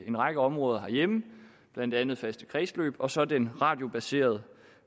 en række områder herhjemme blandt andet faste kredsløb og så den radiobaserede